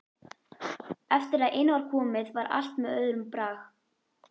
Eftir að inn var komið var allt með öðrum brag.